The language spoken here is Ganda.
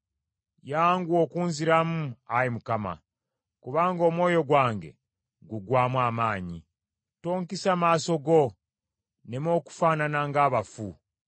Yanguwa okunziramu, Ayi Mukama , kubanga omwoyo gwange guggwaamu amaanyi. Tonkisa maaso go, nneme okufaanana ng’abafu.